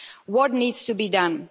What needs to be done?